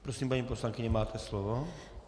Prosím, paní poslankyně, máte slovo.